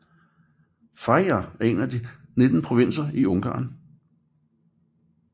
Fejér er en af de 19 provinser i Ungarn